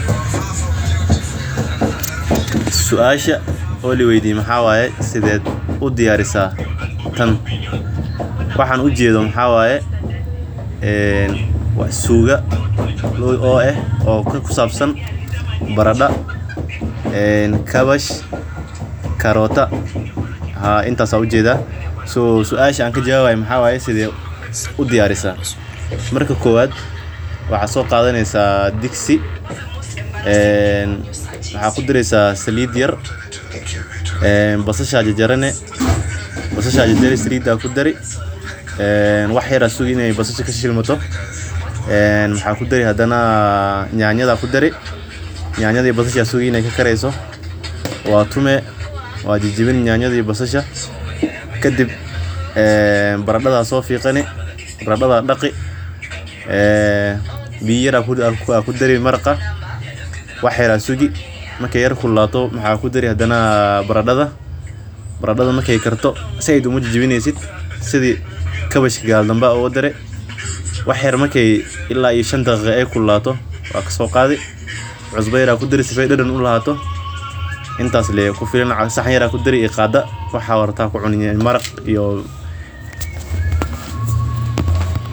Suasha oo lii weydiye waxaa laga aye sidee udiyarisa tan waxaan ujeedo waa suugo ku sabsan barada kabach marki kowaad digsi ayaa soo qadani saliid yar ayaa ku dareysa wax yar ayaa sugi inta aay ka kareyso baradada ayaa soo fiiqi biya yar ayaa kudari wax yar marki aay kululato cusba ayaa kudari saxan ayaa kushubi sidaad rabto ayaa ucuni.